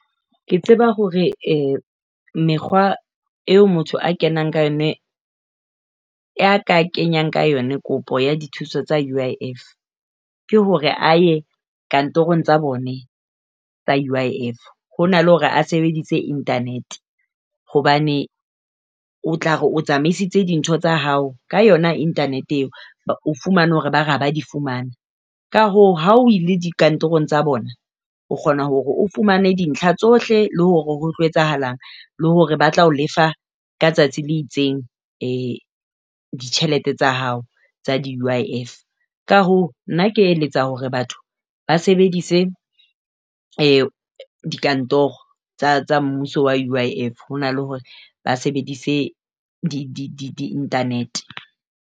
Ke tseba hore eh mekgwa eo motho a kenang ka yona ya ka kenyang ka yona kopo ya dithuso tsa UIF ke hore a ye kantorong tsa bone tsa UIF. Hona le hore a sebedise internet hobane o tla re o tsamaisitse dintho tsa hao ka yona internet eo, o fumane hore ba re ha ba di fumane. Ka hoo, ha o ile dikantorong tsa bona o kgona hore o fumane dintlha tsohle le hore ho tlo etsahalang le hore ba tla o lefa ka letsatsi le itseng ditjhelete tsa hao tsa di UIF. Ka hoo, nna ke eletsa hore batho ba sebedise dikantoro tsa mmuso wa UIF ho na le hore ba sebedise di-internet.